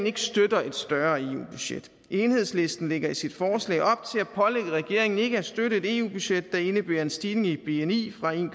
ikke støtter et større eu budget enhedslisten lægger i sit forslag op til at pålægge regeringen ikke at støtte et eu budget der indebærer en stigning i bni fra en